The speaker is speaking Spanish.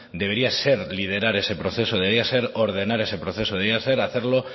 debería ser liderar ese proceso debería ser ordenar ese proceso debería ser hacerlo